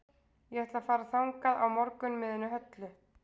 Ég ætla að fara þangað á morgun með henni Höllu.